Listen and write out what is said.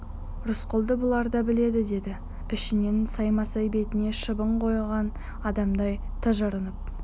рысқұлды бұлар да біледі деді ішінен саймасай бетіне шыбын қонған адамдай тыжырынып